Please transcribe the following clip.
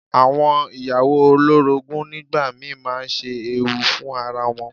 Àwọn ìyàwó olórogún nígbà mi máa ń ṣe ewu fún ara wọn.